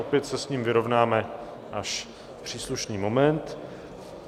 Opět se s ním vyrovnáme až v příslušný moment.